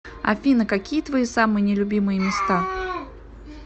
афина какие твои самые не любимые места